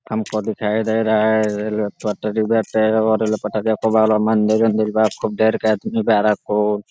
हमको दिखाई दे रहा है रेल्वे पटरी बाटे रेल पटरी ब लो मंदिर उंदीर बा खूब देर के आदमी बा